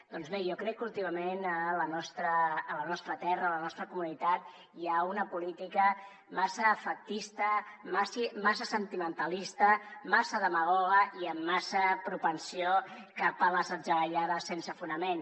doncs bé jo crec que últimament a la nostra terra a la nostra comunitat hi ha una política massa efectista massa sentimentalista massa demagoga i amb massa propensió cap a les atzagaiades sense fonament